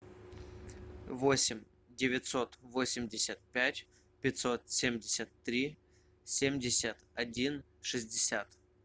восемь девятьсот восемьдесят пять пятьсот семьдесят три семьдесят один шестьдесят